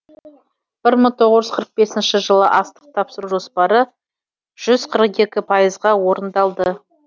бір мың тоғыз жүз қырық бесінші жылы астық тапсыру жоспары жүз қырық екі пайызға орындалды